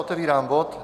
Otevírám bod